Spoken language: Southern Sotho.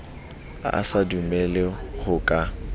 a sa dumele ho ka